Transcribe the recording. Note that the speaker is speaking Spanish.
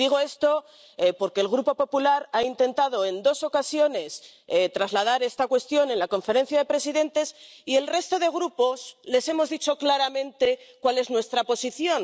Y digo esto porque el Grupo del Partido Popular Europeo ha intentado en dos ocasiones trasladar esta cuestión a la Conferencia de Presidentes y los demás grupos les hemos dicho claramente cuál es nuestra posición.